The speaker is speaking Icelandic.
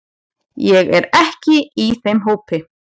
Ég er ekki í þeim hópi.